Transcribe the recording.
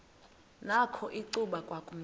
nakho icuba kwakumnyama